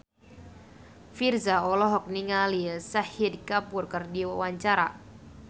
Virzha olohok ningali Shahid Kapoor keur diwawancara